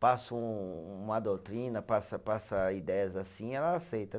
passa um uma doutrina, passa passa ideias assim, ela aceita, né?